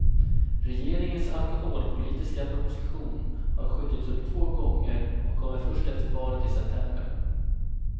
Regeringens alkoholpolitiska proposition har skjutits upp två gånger och kommer först efter valet i september.